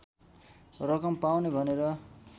रकम पाउने भनेर